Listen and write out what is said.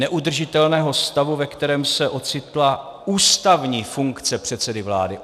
Neudržitelného stavu, ve kterém se ocitla ústavní funkce předsedy vlády.